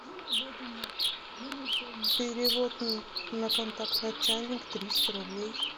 перевод на контакт начальник триста рублей